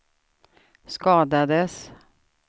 skadades